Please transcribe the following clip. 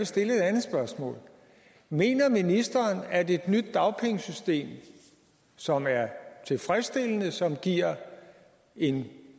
stille et andet spørgsmål mener ministeren at et nyt dagpengesystem som er tilfredsstillende og som giver en